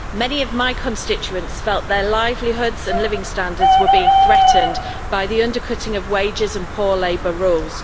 Many of my constituents felt their livelihoods and living standards were being threatened by the undercutting of wages and poor labour rules.